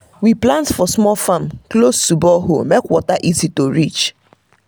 we plant for small farm close to borehole make water easy to reach.